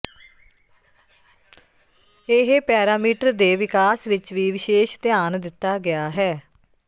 ਇਹ ਪੈਰਾਮੀਟਰ ਦੇ ਵਿਕਾਸ ਵਿੱਚ ਵੀ ਵਿਸ਼ੇਸ਼ ਧਿਆਨ ਦਿੱਤਾ ਗਿਆ ਹੈ